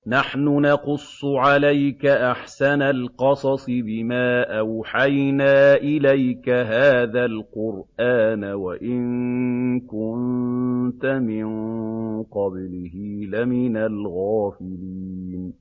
نَحْنُ نَقُصُّ عَلَيْكَ أَحْسَنَ الْقَصَصِ بِمَا أَوْحَيْنَا إِلَيْكَ هَٰذَا الْقُرْآنَ وَإِن كُنتَ مِن قَبْلِهِ لَمِنَ الْغَافِلِينَ